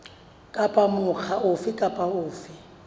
kapa mokga ofe kapa ofe